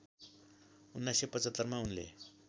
१९७५ मा उनले